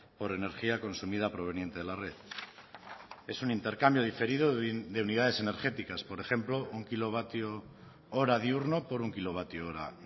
por energía consumida proveniente de la red es un intercambio diferido de unidades energéticas por ejemplo un kilovatio hora diurno por un kilovatio hora